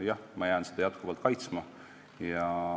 Jah, ma jään seda jätkuvalt kaitsma.